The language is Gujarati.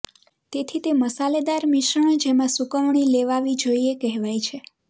તેથી તે મસાલેદાર મિશ્રણ જેમાં સૂકવણી લેવાવી જોઈએ કહેવાય છે